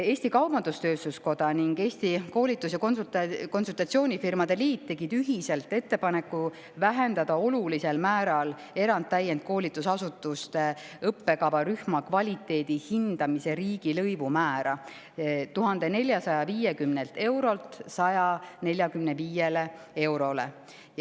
Eesti Kaubandus-Tööstuskoda ning Eesti Koolitus- ja Konsultatsioonifirmade Liit tegid ühiselt ettepaneku vähendada olulisel määral eratäienduskoolitusasutuste õppekavarühma kvaliteedihindamise riigilõivu määra: 1450 eurolt 145 eurole.